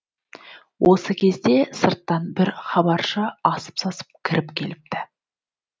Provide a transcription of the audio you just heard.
осы кезде сырттан бір хабаршы асып сасып кіріп келіпті